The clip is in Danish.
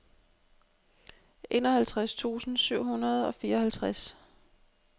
enoghalvtreds tusind syv hundrede og fireoghalvtreds